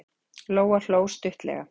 Lóa hló stuttlega.